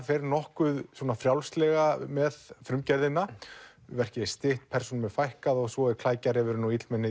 fer nokkuð frjálslega með frumgerðina verkið er stytt persónum er fækkað og svo er klækjarefurinn og illmenni